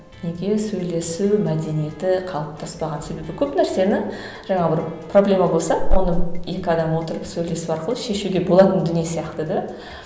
неге сөйлесу мәдениеті қалыптаспаған себебі көп нәрсені жаңа бір проблема болса оны екі адам отырып сөйлесу арқылы шешуге болатын дүние сияқты да